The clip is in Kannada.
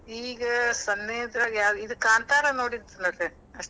ಈಗ ಸನೇದ್ರಾಗ್ ಯಾವ್, ಇದ್ ಕಾಂತಾರ ನೋಡಿದ್ನಿರಿ ಅಷ್ಟ್.